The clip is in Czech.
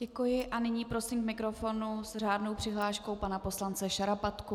Děkuji a nyní prosím k mikrofonu s řádnou přihláškou pana poslance Šarapatku.